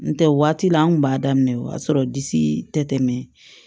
N tɛ waati la an kun b'a daminɛ o y'a sɔrɔ disi tɛ tɛmɛ